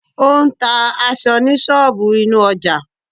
Ó ń ta aṣọ ní ṣọ́ọ̀bù inú ọjà.